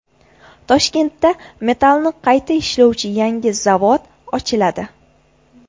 Toshkentda metallni qayta ishlovchi yangi zavod ochiladi.